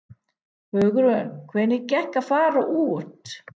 Hugrún: Hvernig gekk að fara út?